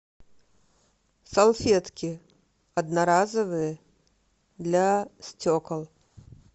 салфетки одноразовые для стекол